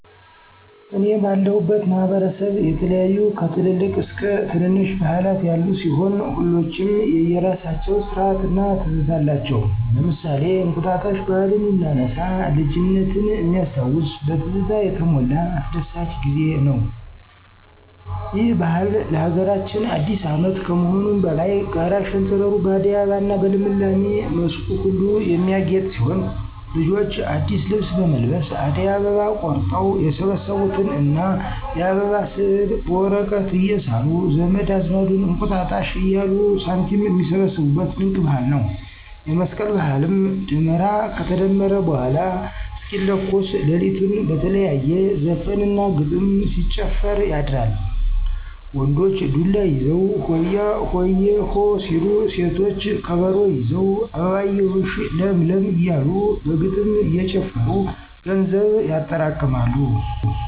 እኔ ባለሁበት ማህበረሰብ የተለያዩ ከትልልቅ እስከ ትነነሽ ባህላት ያሉ ሲሆን ሁሎችም የየራሳቸው ስርአት እና ትዝታ አላቸው። ለምሳሌ እንቁጣጣሽ ባህልን ብናነሳ ልጅነት ሚያስታውስ በትዝታ የተሞላ አስደሳች ጊዜ ነው። ይህ ባህል ለሀገራችን አዲስ አመት ከመሆኑም በላይ ጋራ ሸንተረሩ በአደይ አበባ እና በልምላሜ መስኩ ሁሉ የሚያጌጥ ሲሆን ልጆች አዲስ ልብስ በመልበስ አደይ አበባ ቆርጠው የሰበሰቡትን እና የአበባ ስዕል በወረቀት እየሳሉ ዘመድ አዝማዱን እንቁጣጣሽ እያሉ ሳንቲም ሚሰበስቡት ድንቅ ባህል ነው። የመስቀል ባህልም ደመራ ከተደመረ በኃላ እስኪለኮስ ለሊቱን በተለያየ ዘፈን እና ግጥም ሲጨፈር ያድራል። ወንዶች ዱላ ይዘው ሆያሆየ... ሆ ሲሉ ሴቶች ከበሮ ይዘው አበባየሁሽ ለምለም እያሉ በግጥም እየጨፈሩ ገንዘብ ያጠራቅማሉ።